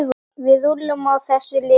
Við rúllum á þessu liði.